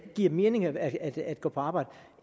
giver mening at at gå på arbejde